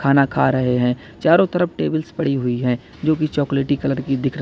खाना खा रहे हैं चारों तरफ टेबल्स पड़ी हुई हैं जो की चॉकलेटी कलर की दिख रही--